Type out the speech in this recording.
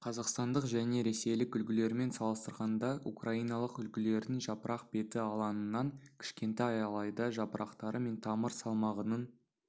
қазақстандық және ресейлік үлгілермен салыстырғанда украиналық үлгілердің жапырақ беті алаңының кішкентай алайда жапырақтары мен тамыр салмағының